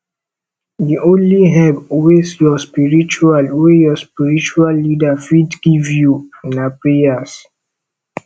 di only help wey your spiritual wey your spiritual leader fit give you na prayers